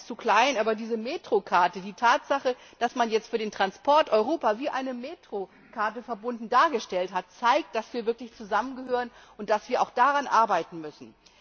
Ich weiß, es ist zu klein, aber diese Metrokarte die Tatsache, dass man jetzt Europa für den Transport wie eine Metrokarte verbunden dargestellt hat zeigt, dass wir wirklich zusammengehören, und dass wir auch daran arbeiten müssen.